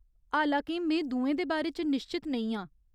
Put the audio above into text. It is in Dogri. हालां के में दुएं दे बारे च निश्चत नेईं आं।